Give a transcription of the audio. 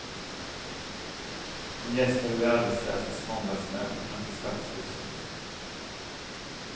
Hon gästade de arbetslösas måndagsmöte framför stadshuset.